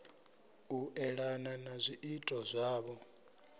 u elana na zwiito zwavho